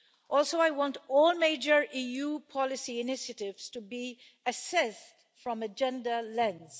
Also, I want all major EU policy initiatives to be assessed from a gender lens.